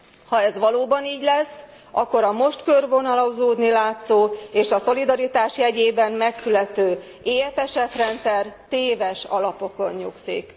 Ha ez valóban így lesz, akkor a most körvonalazódni látszó és a szolidaritás jegyében megszülető EFSF rendszer téves alapokon nyugszik.